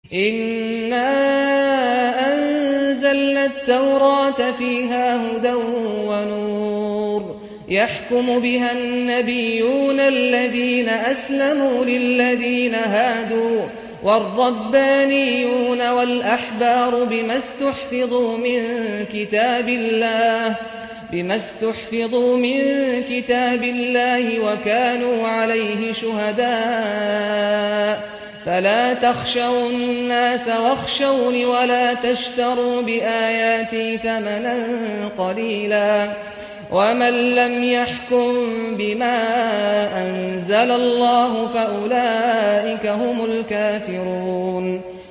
إِنَّا أَنزَلْنَا التَّوْرَاةَ فِيهَا هُدًى وَنُورٌ ۚ يَحْكُمُ بِهَا النَّبِيُّونَ الَّذِينَ أَسْلَمُوا لِلَّذِينَ هَادُوا وَالرَّبَّانِيُّونَ وَالْأَحْبَارُ بِمَا اسْتُحْفِظُوا مِن كِتَابِ اللَّهِ وَكَانُوا عَلَيْهِ شُهَدَاءَ ۚ فَلَا تَخْشَوُا النَّاسَ وَاخْشَوْنِ وَلَا تَشْتَرُوا بِآيَاتِي ثَمَنًا قَلِيلًا ۚ وَمَن لَّمْ يَحْكُم بِمَا أَنزَلَ اللَّهُ فَأُولَٰئِكَ هُمُ الْكَافِرُونَ